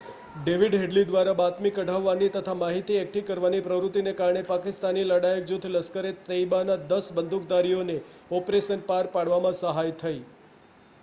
David Headley દ્વારા બાતમી કઢાવવાની તથા માહિતી એકઠી કરવાની પ્રવૃત્તિને કારણે પાકિસ્તાની લડાયક જૂથ લશ્કર-એ-તૈબાના 10 બંદૂકધારીઓને ઑપરેશન પાર પાડવામાં સહાય થઈ